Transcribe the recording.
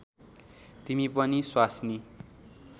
तिमी पनि स्वास्नी